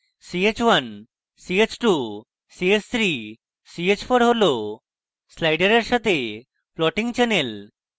ch1 ch2 ch3 ch4 হল sliders সাথে plotting channels